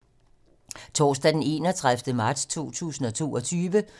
Torsdag d. 31. marts 2022